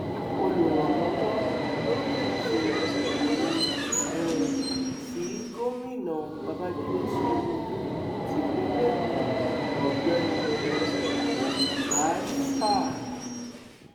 olùrànlọwọ lórí ètò ìròyìn um sí gómìnà babàjídé sanwóolu tipinlé ẹkọ ọgbẹni um juribas a